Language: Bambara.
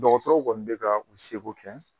Dɔgɔtɔrɔw kɔni bɛ ka u se ko kɛ.